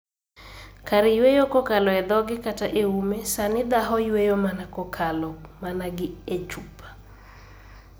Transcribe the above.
Kar yueyo kokalo e dhoge kata e ume ,sani ndaho yueyo mana kokalo mana gi e chupa.